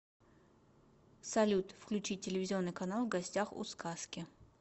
салют включить телевизионный канал в гостях у сказки